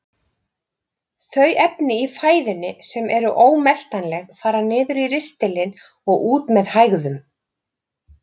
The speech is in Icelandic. Þau efni í fæðunni sem eru ómeltanleg fara niður í ristilinn og út með hægðum.